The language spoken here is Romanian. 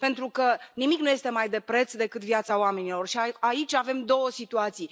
Pentru că nimic nu este mai de preț decât viața oamenilor și aici avem două situații.